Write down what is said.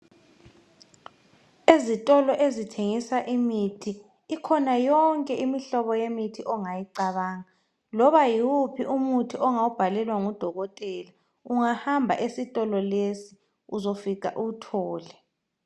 Izitolo ezithengisa imithi. Ikhona yonke imihlobo yemithi ongayicabanga. Loba yiwuphi umuthi ongawubhalelwa ngudokotela, ungahamba esitolo lesi uzafika uwuthole.